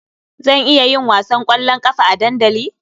Zan iya yin wasan ƙwallon ƙafa a dandali?